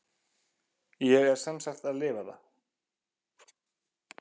Ég er sem sagt að lifa það.